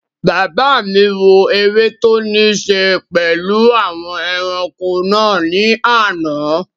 Bàbá mi wò eré tó ní ṣe pẹ̀lú àwọn ẹranko náà ní àná